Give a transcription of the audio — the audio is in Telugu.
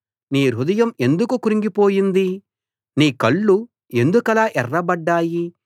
నీ హృదయం ఎందుకు క్రుంగిపోయింది నీ కళ్ళు ఎందుకలా ఎర్రబడ్డాయి